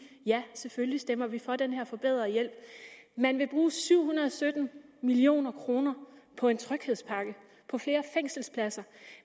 ja selvfølgelig stemmer vi for den her forbedrede hjælp man vil bruge syv hundrede og sytten million kroner på en tryghedspakke på flere fængselspladser